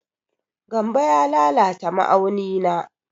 Gambo ya lalata ma'auni na.